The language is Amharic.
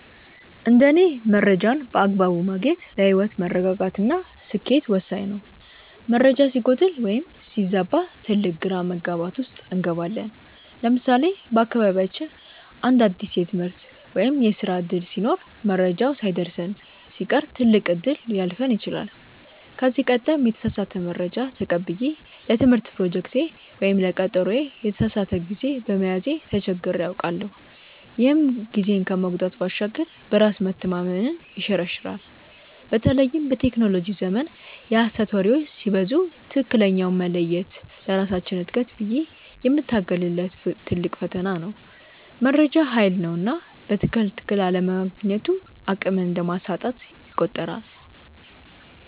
እንደ እኔ መረጃን በአግባቡ ማግኘት ለህይወት መረጋጋት እና ስኬት ወሳኝ ነው። መረጃ ሲጎድል ወይም ሲዛባ ትልቅ ግራ መጋባት ውስጥ እንገባለን። ለምሳሌ በአካባቢያችን አንድ አዲስ የትምህርት ወይም የስራ ዕድል ሲኖር መረጃው ሳይደርሰን ሲቀር ትልቅ እድል ሊያልፈን ይችላል። ከዚህ ቀደም የተሳሳተ መረጃ ተቀብዬ ለትምህርት ፕሮጀክቴ ወይም ለቀጠሮዬ የተሳሳተ ጊዜ በመያዜ ተቸግሬ አውቃለሁ፤ ይህም ጊዜን ከመጉዳት ባሻገር በራስ መተማመንን ይሸረሽራል። በተለይም በቴክኖሎጂው ዘመን የሐሰት ወሬዎች ሲበዙ ትክክለኛውን መለየት ለራሳችን እድገት ብዬ የምታገልለት ትልቅ ፈተና ነው። መረጃ ሃይል ነውና በትክክል አለማግኘቱ አቅምን እንደማሳጣት ይቆጠራል።